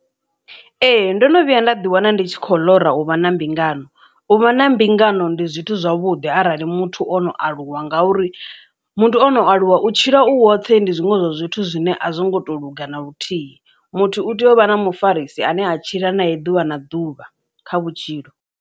Ee ndono vhuya nda ḓi wana ndi tshi khou ḽora u vha na mbingano uvha na mbingano ndi zwithu zwavhuḓi arali muthu ono aluwa ngauri muthu ono aluwa u tshila u woṱhe ndi zwiṅwe zwa zwithu zwine a zwi ngo to luga na luthihi muthu u tea u vha na mufarisi a ne a tshila nae ḓuvha na ḓuvha kha vhutshilo.